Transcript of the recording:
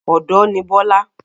Ọ̀dọ́ ní Bọ́lá